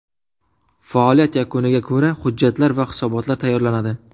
Faoliyat yakuniga ko‘ra hujjatlar va hisobotlar tayyorlanadi.